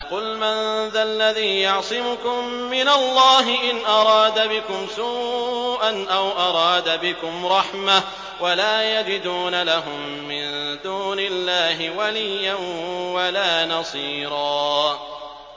قُلْ مَن ذَا الَّذِي يَعْصِمُكُم مِّنَ اللَّهِ إِنْ أَرَادَ بِكُمْ سُوءًا أَوْ أَرَادَ بِكُمْ رَحْمَةً ۚ وَلَا يَجِدُونَ لَهُم مِّن دُونِ اللَّهِ وَلِيًّا وَلَا نَصِيرًا